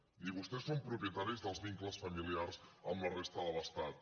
ni vostès són propietaris dels vincles familiars amb la resta de l’estat